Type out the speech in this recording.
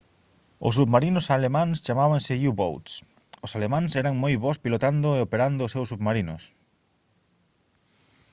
os submarinos alemáns chamábanse u-boats os alemáns eran moi bos pilotando e operando os seus submarinos